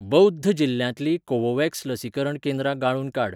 बौध जिल्ल्यांतलीं कोवोव्हॅक्स लसीकरण केंद्रां गाळून काड.